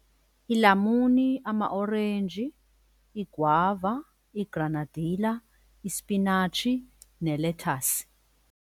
Iilamuni, amaorenji, iigwava, iigranadila, ispinatshi nelethasi.